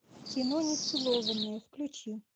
кино нецелованные включи